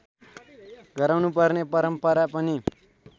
गराउनुपर्ने परम्परा पनि